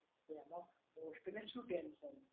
તો આમાં હોસ્ટ ને શું ટેન્શન?